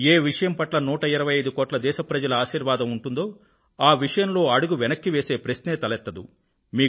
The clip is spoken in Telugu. ఏ విషయం పట్ల 125 కోట్ల దేశ ప్రజల ఆశీర్వాదం ఉంటుందో ఆ విషయంలో అడుగు వెనక్కి వేసే ప్రశ్నే తలెత్తదు